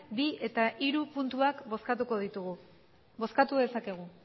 bi eta hiru puntuak bozkatuko ditugu bozkatu dezakegu